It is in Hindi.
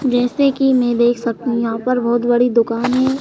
जैसे कि मैं देख सकता हूं यहां पर बहुत बड़ी दुकान है।